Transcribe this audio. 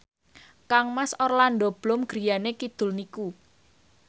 kangmas Orlando Bloom griyane kidul niku